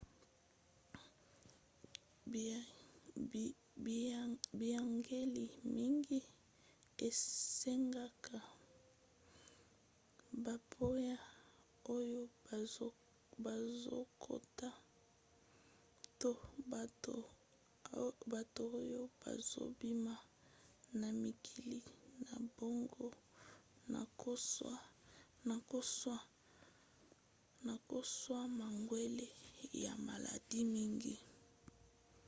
biyangeli mingi esengaka bapaya oyo bazokota to bato oyo bazobima na mikili na bango na kozwa mangwele ya maladi mingi